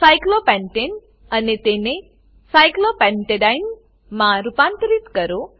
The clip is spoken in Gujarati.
સાયક્લોપેન્ટને સાયક્લોપેન્ટેન અને તેને સાયક્લોપેન્ટેડીને સાયક્લોપેન્ટેડાઈન માં રૂપાંતરિત કરો